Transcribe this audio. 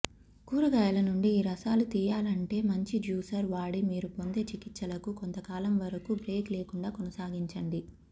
కూరగాయలనుండి ఈ రసాలు తీయాలంటే మంచి జ్యూసర్ వాడి మీరు పొందే చికిత్సలకు కొంతకాలంవరకు బ్రేక్ లేకుండా కొనసాగించండి